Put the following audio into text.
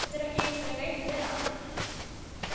Getur ekki einu sinni reynt við hann.